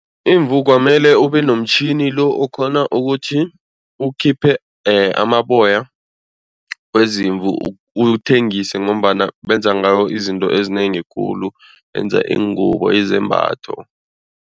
Imvu kwamele ubenomtjhini lo okhona ukuthi ukhiphe amaboyaya wezimvu uthengise ngombana benza ngayo izinto ezinengi khulu benza iingubo izembatho.